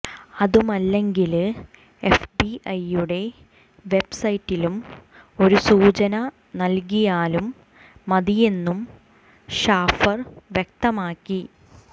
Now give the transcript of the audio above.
അതുമല്ലെങ്കില് എഫ്ബിഎയെുടെ വെബ്സൈറ്റില് ഒരു സൂചന നല്കിയാലും മതിയെന്നും ഷാഫർ വ്യക്തമാക്കി